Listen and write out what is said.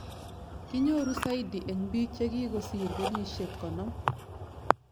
kinyoru saidi eng piig jigigosir kenyishek konom